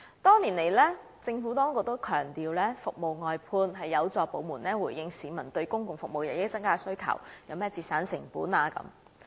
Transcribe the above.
多年來，政府當局也強調服務外判有助部門回應市民對公共服務日益增加的需求，有助節省成本。